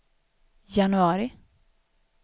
januari